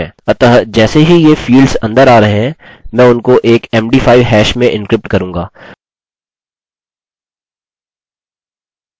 अतः जैसे ही ये फील्ड्स अंदर आ रहे हैं मैं उनको एक md 5 hash में एन्क्रिप्ट करूँगा